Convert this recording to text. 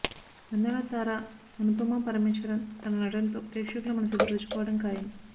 అందాల తార అనుపమా పరమేశ్వరన్ తన నటనతో ప్రేక్షకుల మనసు దోచుకోవడం ఖాయం